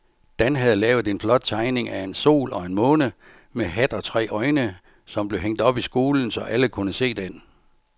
Dan havde lavet en flot tegning af en sol og en måne med hat og tre øjne, som blev hængt op i skolen, så alle kunne se den.